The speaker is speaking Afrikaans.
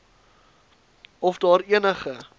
of daar enige